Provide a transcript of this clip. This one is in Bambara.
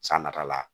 San nata la